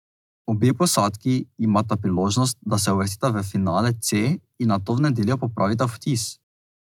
Obe posadki imata priložnost, da se uvrstita v finale C in nato v nedeljo popravita vtis.